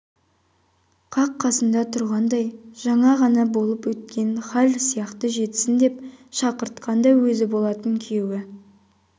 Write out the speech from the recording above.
қақ қасында тұрғандай жаңа ғана болып өткен хал сияқты жетсін деп шақыртқан да өзі болатын күйеуі